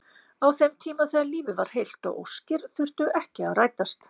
Á þeim tíma þegar lífið var heilt og óskir þurftu ekki að rætast.